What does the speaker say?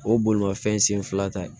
O ye bolimafɛn sen fila ta ye